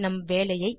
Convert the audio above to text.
நம் வேலையை